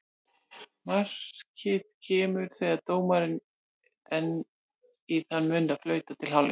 Markið kemur þegar dómarinn er í þann mund að flauta til hálfleiks.